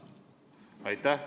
Aitäh!